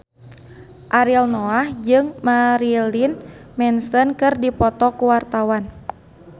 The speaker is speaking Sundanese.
Ariel Noah jeung Marilyn Manson keur dipoto ku wartawan